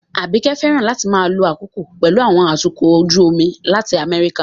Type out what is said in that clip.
Abike fẹ́ràn láti máa lo àkókò pẹ̀lú àwọn atukọ̀ ojú omi láti America